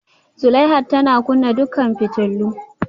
Zulaihat tana kunna dukkan fitulun